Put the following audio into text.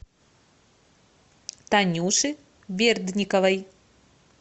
танюше бердниковой